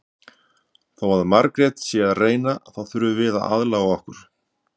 Þó að Margrét sé að reyna þá þurfum við aðlaga okkur.